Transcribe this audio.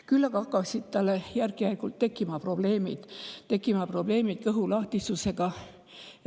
Küll aga hakkasid tal järk-järgult tekkima probleemid kõhulahtisusega.